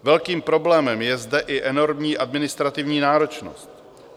Velkým problémem je zde i enormní administrativní náročnost.